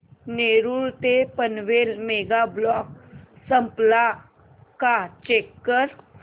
नेरूळ ते Panvel mega block संपला का चेक कर